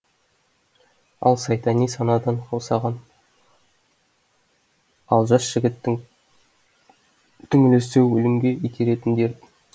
ал сайтани санадан қаусаған ал жас жігіттің түңілісі өлімге итеретін дерт